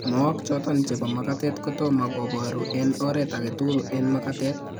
Mook choton chebo makatet kotam ko boru en oret agetugul en makatet